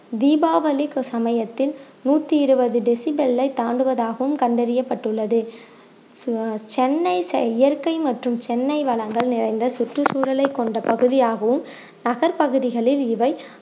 தீபாவளிக்கு சமயத்தில் நூத்தி இருவது decibel ஐ தாண்டுவதாகவும் கண்டறியப்பட்டுள்ளது அஹ் சென்னை இயற்கை மற்றும் சென்னை வளங்கள் நிறைந்த சுற்றுச்சூழலை கொண்ட பகுதியாகவும் நகர் பகுதிகளில் இவை